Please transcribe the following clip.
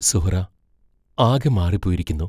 സുഹ്റാ ആകെ മാറിപ്പോയിരിക്കുന്നു.